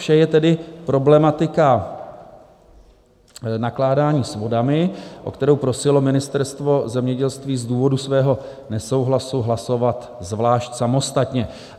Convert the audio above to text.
Vše je tedy problematika nakládání s vodami, o kterou prosilo Ministerstvo zemědělství z důvodu svého nesouhlasu hlasovat zvlášť, samostatně.